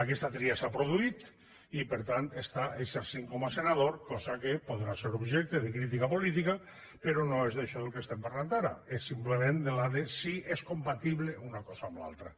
aquesta tria s’ha produït i per tant està exercint com a senador cosa que podrà ser objecte de crítica política però no és d’això del que estem parlant ara és simplement de si és compatible una cosa amb l’altra